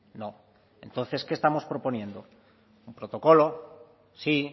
no entonces qué estamos proponiendo un protocolo sí